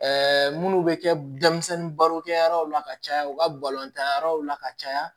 minnu bɛ kɛ denmisɛnnin baro kɛ yɔrɔw la ka caya u ka balontan yɔrɔw la ka caya